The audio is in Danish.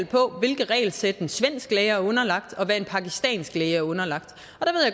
på hvilket regelsæt en svensk læge er underlagt og hvad en pakistansk læge er underlagt